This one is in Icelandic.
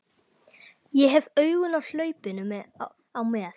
Ég hef augun á hlaupinu á með